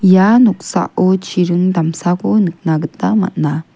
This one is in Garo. ia noksao chiring damsako nikna gita man·a.